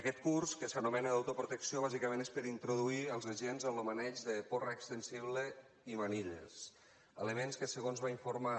aquest curs que s’anomena d’autoprotecció bàsicament és per introduir els agents en lo maneig de porra extensible i manilles elements que segons va informar